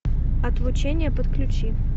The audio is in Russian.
отлучение подключи